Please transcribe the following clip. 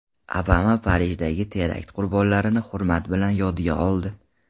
Obama Parijdagi terakt qurbonlarini hurmat bilan yodga oldi.